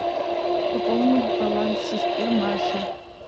пополни баланс сестре маше